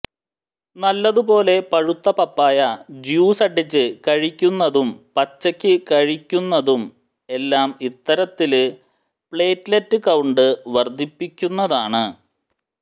നല്ലതു പോലെ പഴുത്ത പപ്പായ ജ്യൂസ് അടിച്ച് കഴിയ്ക്കുന്നതും പച്ചയ്ക്ക് കഴിയ്ക്കുന്നതും എല്ലാം ഇത്തരത്തില് പ്ലേറ്റ്ലറ്റ് കൌണ്ട് വര്ദ്ധിപ്പിക്കുന്നതാണ്